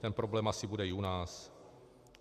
Ten problém asi bude i u nás.